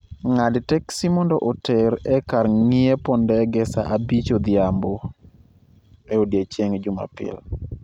ng'ad teksi mondo oter e kar ng'iepo ndege saa 5:00 odhiambo e odiechieng' Jumapil